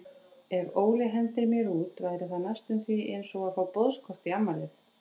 Ef Óli hendir mér út væri það næstum því einsog að fá boðskort í afmælið.